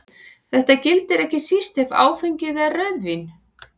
Þetta gildir ekki síst ef áfengið er rauðvín.